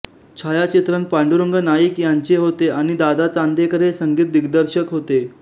छायाचित्रण पांडुरंग नाईक यांचे होते आणि दादा चांदेकर हे संगीत दिग्दर्शक होते